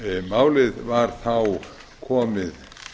málið var þá komið